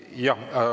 Jah.